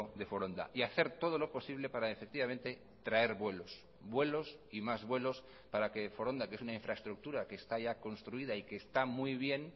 de foronda y hacer todo lo posible para efectivamente traer vuelos vuelos y más vuelos para que foronda que es una infraestructura que está ya construida y que está muy bien